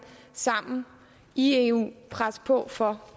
sammen i eu vil presse på for